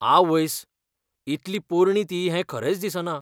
आवयस्स, इतली पोरणी ती हें खरेंच दिसना.